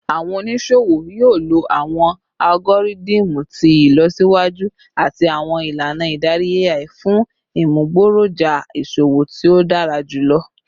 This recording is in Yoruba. Awọn oniṣowo yoo lo awọn algoridimu ti ilọsiwaju ati awọn ilana idari AI fun imugboroja iṣowo ti o dara julọ